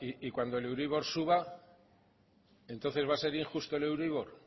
y cuando el euribor suba entonces va a ser injusto el euribor